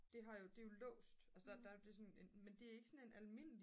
det har jo det er jo låst altså der er jo men det er ikke sådan en almindelig